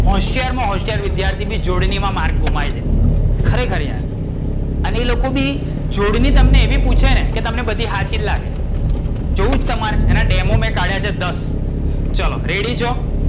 હોશિયાર માં હીશિયાર વિધ્યાર્થી બી જોડણી માં માર્ક ગુમાઈ દે. ખરેખર યાર. અને એ લોકો બી જોડણી તમને એવી પૂછે ને કે તમને બધી હાચી જ લાગે.